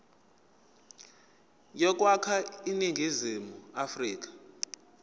yokwakha iningizimu afrika